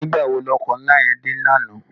Nigbá wó no òkò nlá yèn dé làná?